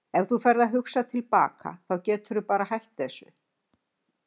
Ef þú ferð að hugsa til baka þá geturðu bara hætt þessu.